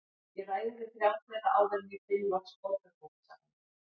Ég ræði við þrjá þeirra áður en ég finn loks Borgarbókasafnið.